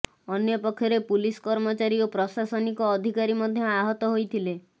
ଅନ୍ୟପକ୍ଷରେ ପୁଲିସ କର୍ମଚାରୀ ଓ ପ୍ରଶାସନିକ ଅଧିକାରୀ ମଧ୍ୟ ଆହତ ହୋଇଥିଲେ